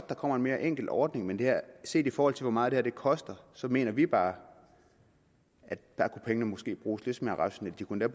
der kommer en mere enkel ordning men set i forhold til hvor meget det her koster mener vi bare at pengene måske kunne bruges lidt mere rationelt de kunne